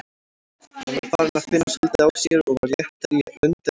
Hann var farinn að finna svolítið á sér og var léttari í lund en áður.